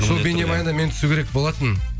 сол бейнебаянда мен түсу керек болатынмын